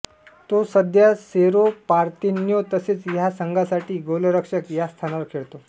तो सध्या Cerro Porteno तसेच ह्या संघांसाठी गोलरक्षक ह्या स्थानावर खेळतो